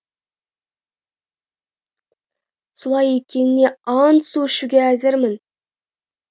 солай екеніне ант су ішуге әзірмін